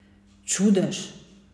Čudež!